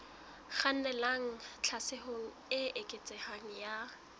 kgannelang tlhaselong e eketsehang ya